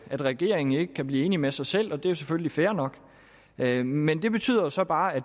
at regeringen ikke kan blive enig med sig selv og det er jo selvfølgelig fair nok men men det betyder så bare at